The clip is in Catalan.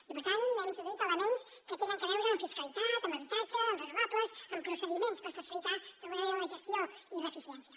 i per tant hem introduït elements que tenen a veure amb fiscalitat amb habitatge amb renovables amb procediments per facilitar d’alguna manera la gestió i l’eficiència